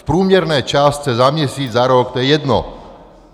V průměrné částce za měsíc, za rok, to je jedno.